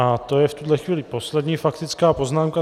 A to je v tuhle chvíli poslední faktická poznámka.